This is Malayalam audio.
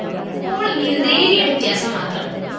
പോളിംഗില്‍ നേരിയ വ്യത്യാസം മാത്രം